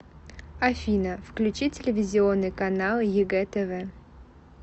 афина включи телевизионный канал егэ тв